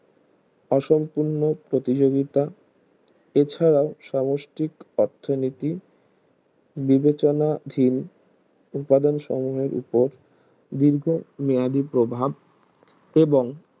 অসম্পূর্ণ প্রতিযোগিতা এছাড়াও সামষ্টিক অর্থনীতি বিবেচনা হীন উৎপাদন সংঘের উপর দীর্ঘ মেয়াদি প্রভাব এবং